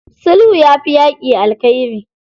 Sulhu yafi yaƙi alkhairi.